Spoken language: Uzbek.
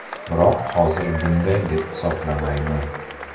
Biroq hozir bunday deb hisoblamayman.